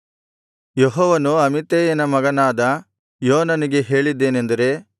ಯೆಹೋವನು ಅಮಿತ್ತೈಯನ ಮಗನಾದ ಯೋನನಿಗೆ ಹೇಳಿದ್ದೇನೆಂದರೆ